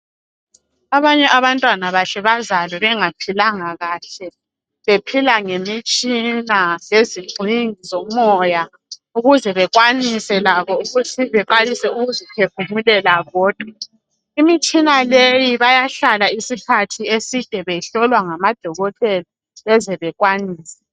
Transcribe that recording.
Abanye abantwana bahle bazalwe bengaphilanga kahle bephila ngemitshina lezigxingi zomoya ukuze bakwanise labo baqalise ukuziphefumulela bodwa imitshina leyi bayahlala isikhathi eside behlolwa ngamadokotela beze bakwanise.